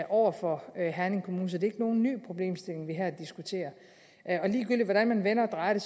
over for herning kommune så det er ikke nogen ny problemstilling vi her diskuterer og ligegyldigt hvordan man vender og drejer det